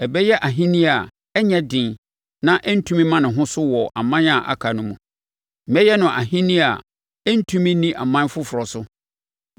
Ɛbɛyɛ ahennie a ɛnyɛ den na ɛrentumi mma ne ho so wɔ aman a aka no mu. Mɛyɛ no ahennie a ɛrentumi nni aman foforɔ so.